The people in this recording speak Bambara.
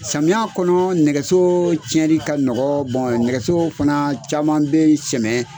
Samiya kɔnɔ nɛgɛso cɛnli ka nɔgɔ bɔn nɛgɛso fana caman be sɛmɛ